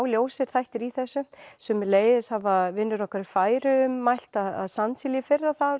ljósir þættir í þessu sömuleiðis hafa vinir okkar í Færeyjum mælt að sandsílið í fyrra